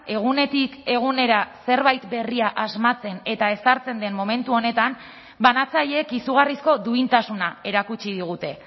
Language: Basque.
egunetik egunera zerbait berria asmatzen eta ezartzen den momentu honetan banatzaileek izugarrizko duintasuna erakutsi digute